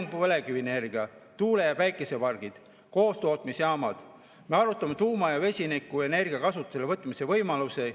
Meil on põlevkivienergia, tuule‑ ja päikesepargid, koostootmisjaamad, me arutame tuuma‑ ja vesinikuenergia kasutusele võtmise võimalusi.